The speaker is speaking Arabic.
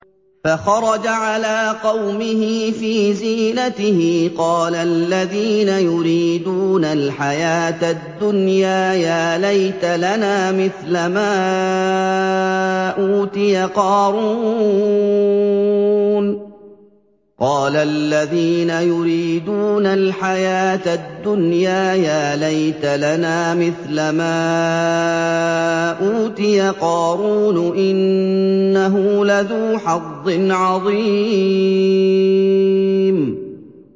فَخَرَجَ عَلَىٰ قَوْمِهِ فِي زِينَتِهِ ۖ قَالَ الَّذِينَ يُرِيدُونَ الْحَيَاةَ الدُّنْيَا يَا لَيْتَ لَنَا مِثْلَ مَا أُوتِيَ قَارُونُ إِنَّهُ لَذُو حَظٍّ عَظِيمٍ